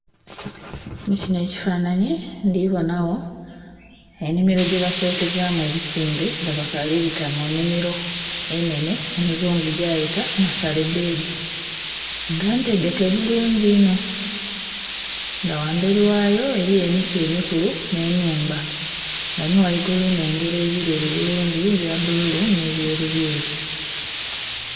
mukino ekifanhnanhi ndhibonagho enimiro gye basokezamu ebisimbe nga bakaali bita mu nimiro enene omuzungu gyayeta nasare bedi nga ntegeke bulungi ino, nga ghanberi ghaayo eriyo emiti emikulu n'enhumba. nga ni ghaigulu nnengera ebireri bulungi ebya bululu ne ebyerubyeru.